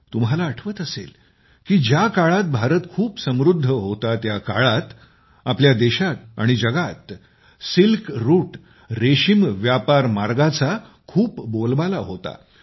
तुम्हाला आठवत असेल की ज्या काळात भारत खूप समृद्ध होता त्या काळात आपल्या देशात आणि जगात सिल्क रूटरेशीम व्यापार मार्गाचा खूप बोलबाला होता